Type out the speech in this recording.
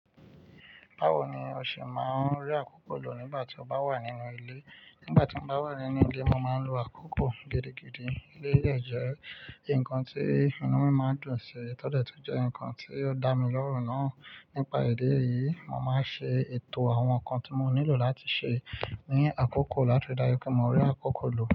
Báwo ni o ṣe máa ń rí àkókò lò nígbà tí o bá wà nínú ilé? Nígbà tí mo bá wà nínú ilé, mo máa ń lo àkókò gidigidi. Ilé de jẹ́ nǹkan tí inú mi máa ń dùn sí, tọ́dẹ̀ tí jẹ́ ǹkan tí ó dá mi lọ́rùn náà. Nípa ìdí èyí, mo máa ń ṣe ètò àwọn ǹkan tí mo nílò láti ṣe ní àkókò láti ri daju pé mo rí àkókò lò.